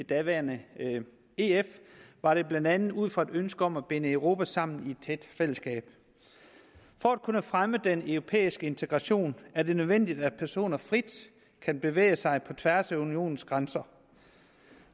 daværende ef var det blandt andet ud fra et ønske om at binde europa sammen i et tæt fællesskab for at kunne fremme den europæiske integration er det nødvendigt at personer frit kan bevæge sig på tværs af unionens grænser